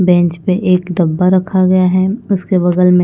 bench पे एक डब्बा रखा गया है उसके बगल में--